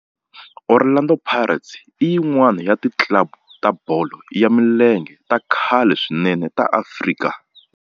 Orlando Pirates i yin'wana ya ti club ta bolo ya milenge ta khale swinene ta Afrika